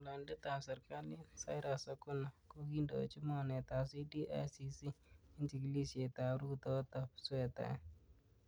Ngololindetab serkalit Cyrus oguna ko kindochi mornetab CDICC en chigilisiet ab rutootob swetaet.